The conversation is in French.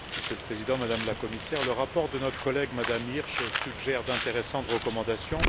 Monsieur le Président, Madame la Commissaire, le rapport de notre collègue, Mme Hirsch, suggère d'intéressantes recommandations.